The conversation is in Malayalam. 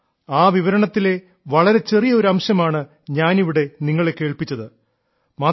ആ ദൃക്സാക്ഷി വിവരണത്തിലെ വളരെ ചെറിയ ഒരു അംശമാണ് ഞാനിവിടെ നിങ്ങളെ കേൾപ്പിച്ചത്